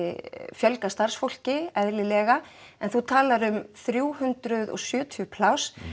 fjölga starfsfólki eðlilega en þú talar um þrjú hundruð og sjötíu pláss